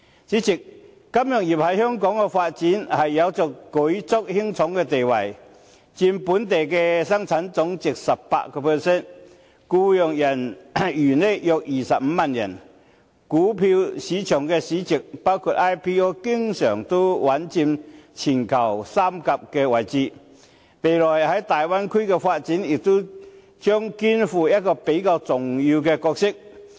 主席，金融業對香港的發展有着舉足輕重的地位，佔本地生產總值 18%， 僱用人員約25萬人，股票市場市值經常穩佔全球三甲位置，未來對大灣區的發展也將肩負比較重要的角色。